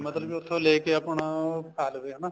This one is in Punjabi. ਮਤਲਬ ਕੀ ਉੱਥੋ ਲੈ ਕੇ ਆਪਣਾ ਖਾ ਲਵੇ ਹਨਾ